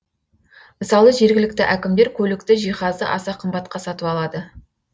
мысалы жергілікті әкімдер көлікті жиһазды аса қымбатқа сатып алады